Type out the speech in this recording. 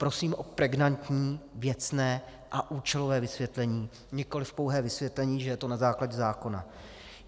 Prosím o pregnantní, věcné a účelové vysvětlení, nikoliv pouhé vysvětlení, že je to na základě zákona.